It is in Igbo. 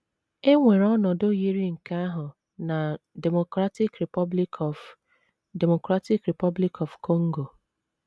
E nwere ọnọdụ yiri nke ahụ na Democratic Republic of Democratic Republic of Congo.